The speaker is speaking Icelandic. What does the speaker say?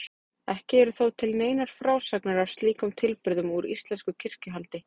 Ekki eru þó til neinar frásagnir af slíkum tilburðum úr íslensku kirkjuhaldi.